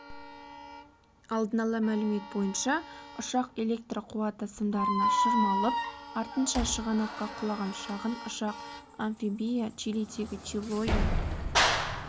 алдын ала мәлімет бойынша ұшақ электр қуаты сымдарына шырмалып артынша шығанаққа құлаған шағын ұшақ-амфибия чилидегі чилоэ